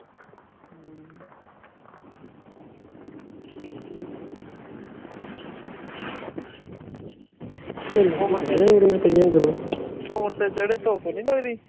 ਧੁੱਪ ਨੀ ਲੱਗਦੀ